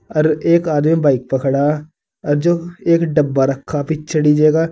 अर एक आदमी बाइक पर खड़ा और जो एक डब्बा रखा पीछे डी_जे का।